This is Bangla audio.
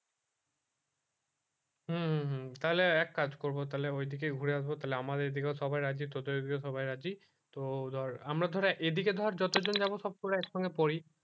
হম হম হম তালে এক কাজ করবো তাহলে ঐই দিকে ঘুরে আসবো তাহলে আমাদের এই দিকেও সবাই রাজি তোদের ওই দিকে সবাই রাজি তো ধর আমরা ধর এই দিকে ধর যত জন যাবো সবাই এক সঙ্গে পড়ি